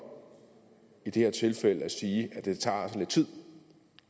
i det her tilfælde at sige at det altså tager lidt tid